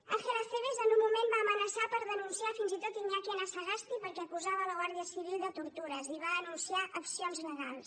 ángel acebes en un moment va amenaçar per denunciar fins i tot iñaki anasagasti perquè acusava la guàrdia civil de tortures i va anunciar accions legals